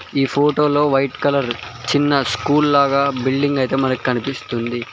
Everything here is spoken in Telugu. ఈ ఫోటోలో వైట్ కలర్ చిన్న స్కూల్ లాగా బిల్డింగ్ అయితే మనకి కనిపిస్తుంది.